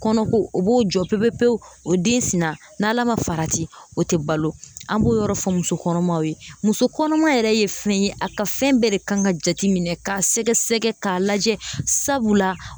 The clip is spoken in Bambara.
Kɔnɔko o b'o jɔ pepepewu o den sinna n'Ala ma farati o tɛ balo an b'o yɔrɔ fɔ muso kɔnɔmaw ye muso kɔnɔmaw yɛrɛ ye fɛn ye a ka fɛn bɛɛ de kan ka jateminɛ k'a sɛgɛsɛgɛ k'a lajɛ sabula